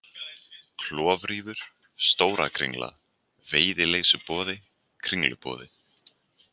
Klofrífur, Stóra-Kringla, Veiðileysuboði, Kringluboði